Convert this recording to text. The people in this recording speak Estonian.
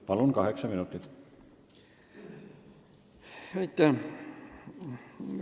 Palun, kaheksa minutit!